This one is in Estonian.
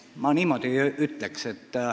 Ma niimoodi ei ütleks.